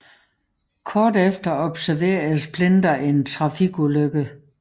Kort efter overværede Splinter en trafikulykke